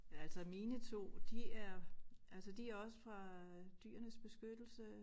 Altså mine 2 de er altså de også fra Dyrenes Beskyttelse